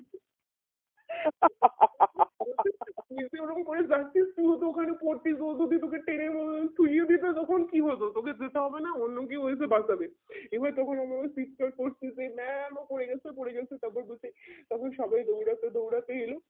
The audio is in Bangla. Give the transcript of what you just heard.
নিয়ে সে ওই রকম করে যাচ্ছে তুই যদি ওখানে পারতিস টেনে বদলে তখন কি বলবো তোকে যেতে হবে না অন্য কেও এসে বাঁচাবে এবার তখন আমরা চিৎকার করছি যে mam ও পরে গেছে পরে গেছে তার পর বলছে তখন সবাই দৌড়াতে দৌড়াতে এলো